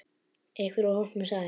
Einhver úr hópnum sagði